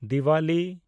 Diwali (ᱡᱮᱭᱱᱤᱡᱚᱢ)